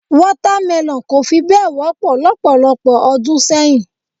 Water melon kò fi bẹ́ẹ̀ wọ́pọ̀ lọ́pọ̀lọpọ̀ ọdún sẹ́yìn.